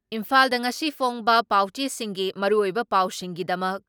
ꯏꯝꯐꯥꯜꯗ ꯉꯁꯤ ꯐꯣꯡꯕ ꯄꯥꯎꯆꯦꯁꯤꯡꯒꯤ ꯃꯔꯨꯑꯣꯏꯕ ꯄꯥꯎꯁꯤꯡꯒꯤꯗꯃꯛ